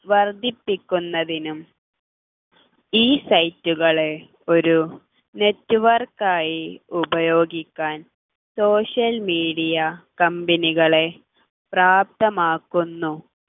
വർധിപ്പിക്കുന്നതിനും ഈ site കളെ ഒരു network ആയി ഉപയോഗിക്കാൻ social media company കളെ പ്രാപ്തമാക്കുന്നു